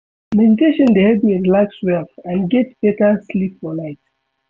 Meditation dey help me relax well and get beta sleep for night.